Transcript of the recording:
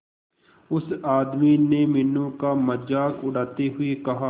उस आदमी ने मीनू का मजाक उड़ाते हुए कहा